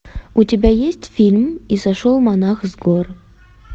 у тебя есть фильм и сошел монах с гор